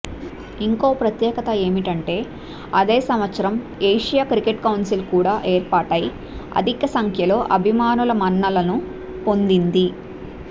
ఇంకో ప్రత్యేకత ఏమిటంటే అదే సంవత్సరం ఏషియా క్రికెట్ కౌన్సిల్ కూడా ఏర్పాటై అధిక సంఖ్యలో అభిమానుల మన్ననలు పొందింది